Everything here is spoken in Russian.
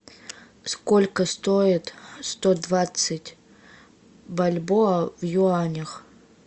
сколько стоит сто двадцать бальбоа в юанях